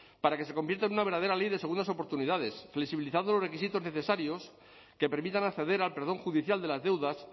para que se convierta en una verdadera ley de segundas oportunidades flexibilizando los requisitos necesarios que permitan acceder al perdón judicial de las deudas